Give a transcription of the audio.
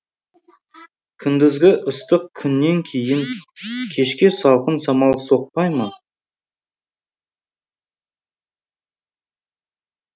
күндізгі ыстық күннен кейін кешке салқын самал соқпай ма